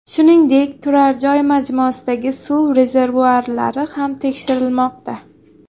Shuningdek, turar-joy majmuasidagi suv rezervuarlari ham tekshirilmoqda.